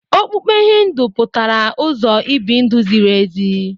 Okpukpe Hindu pụtara "ụzọ ibi ndụ ziri ezi."